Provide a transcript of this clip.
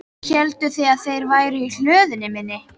Hélduð þið að þeir væru í hlöðunni minni?